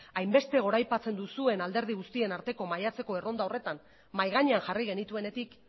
hainbeste goraipatzen duzuen alderdi guztien arteko maiatzeko erronda horretan mahai gainean jarri genituenetik